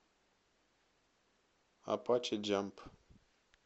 апаче джамп